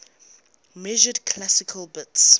measured classical bits